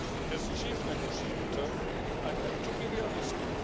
As chief negotiator, I have to be realistic.